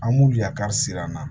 An m'u yakari siran an na